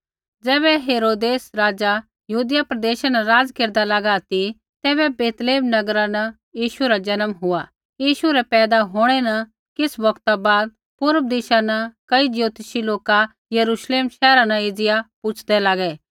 ज़ैबै हेरोदेस राज़ा यहूदिया प्रदेशा न राज़ केरदा लागा ती तैबै बैतलैहम नगरा न यीशु रा जन्म हुआ यीशु रै पैदा होंणै न किछ़ बौगता बाद पूर्व दिशा न कई ज्योतिषी लोका यरूश्लेम शैहरा न एज़िया पुछ़दै लागै